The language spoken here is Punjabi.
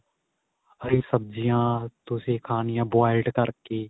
ਹਰੀ ਸਬਜ਼ੀਆਂ ਤੁਸੀਂ ਖਾਣੀਆਂ boiled ਕਰਕੇ